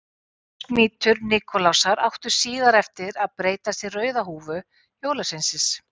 Biskupsmítur Nikulásar átti síðar eftir að breytast í rauða húfu jólasveinsins.